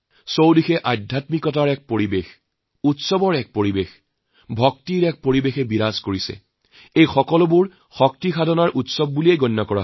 চাৰিওফালে এক আধ্যাত্মিকতাৰ পৰিৱেশ উৎসৱৰ পৰিৱেশ ভক্তিৰ পৰিৱেশ এই সকলোবোৰকে একাংশই শক্তিৰ আৰাধনাৰ উৎসৱ হিচাপে পালন কৰে